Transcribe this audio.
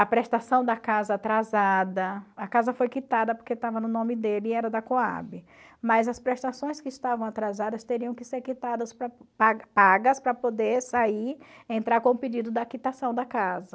A prestação da casa atrasada, a casa foi quitada porque estava no nome dele e era da Cohab, mas as prestações que estavam atrasadas teriam que ser quitadas, pagas para poder sair, entrar com o pedido da quitação da casa.